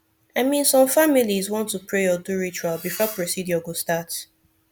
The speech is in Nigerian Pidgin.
i min some familiz wan to pray or do ritual before procedure go start